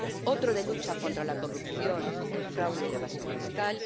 otro de lucha contra la corrupción, el fraude y la evasión fiscal